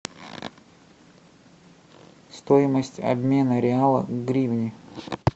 стоимость обмена реала в гривны